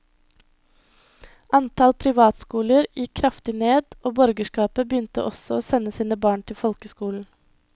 Antall privatskoler gikk kraftig ned, og borgerskapet begynte også å sende sine barn til folkeskolen.